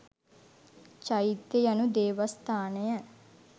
චෛත්‍ය යනු දේවස්ථානය